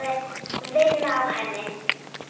Vinn á henni.